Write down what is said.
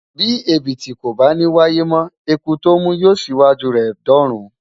Bí Ẹ̀bìtì kò bá ní wáyé mọ́, Eku tó mú yóò ṣíwájú rẹ̀ dọ́run.